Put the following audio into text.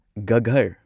ꯒꯘꯔ